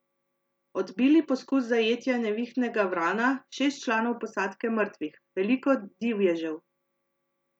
Odbili poskus zajetja Nevihtnega vrana, šest članov posadke mrtvih, veliko divježev.